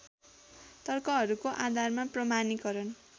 तर्कहरूको आधारमा प्रमाणिकरण